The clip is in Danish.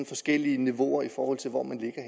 forskellige niveauer i forhold til hvor man